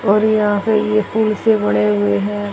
और यहां पे ये पुल से बडे़ हुए है।